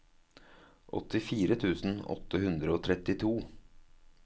åttifire tusen åtte hundre og trettito